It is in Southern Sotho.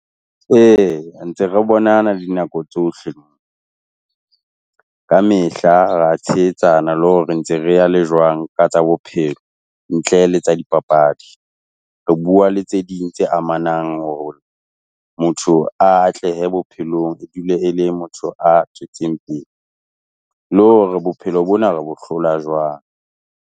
Ntse re bonana dinako tsohle, kamehla re a tshehetsana le hore ntse re ya le jwang, ka tsa bophelo, ntle le tsa dipapadi. Re bua le tse ding tse amanang hore motho atlehe bophelong, e dule e le motho a tswetseng pele, le hore bophelo bona re bo hlola jwang.